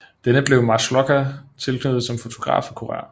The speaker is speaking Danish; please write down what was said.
Denne blev Maslocha tilknyttet som fotograf og kurer